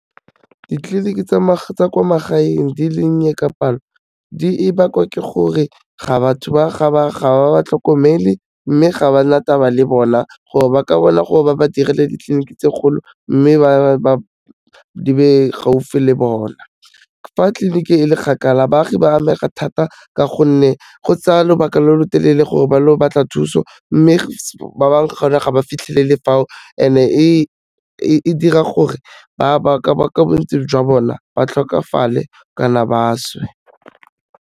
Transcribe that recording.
Ditleliniki tsa kwa magaeng di dinnye ka palo, di e bakwa ke gore ga batho ba ga ba ba tlhokomele, mme ga ba na taba le bona gore ba ka bona gore ba ba direlele ditleliniki tse kgolo mme di be gaufi le bona. Fa tliliniki e le kgakala baagi ba amega thata ka gonne go tsaya lobaka lo lotelele gore ba lo batla thuso, mme ba bang gona ga ba fitlhelele fao and-e e dira gore ba ka bontsi jwa bona ba tlhokafale kana ba swe.